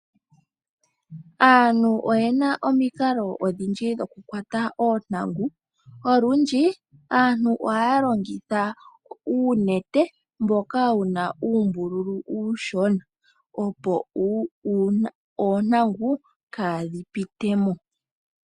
Aantu oyena omikalo odhindji dhokukwata oontangu. Olundji aantu ohaya longitha uunete mboka wuna uumbululu uushona opo oontangu kaadhi pite mo.